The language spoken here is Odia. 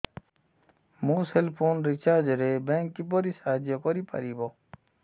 ମୋ ସେଲ୍ ଫୋନ୍ ରିଚାର୍ଜ ରେ ବ୍ୟାଙ୍କ୍ କିପରି ସାହାଯ୍ୟ କରିପାରିବ